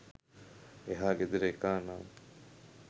එහා ගෙදර එකා නම්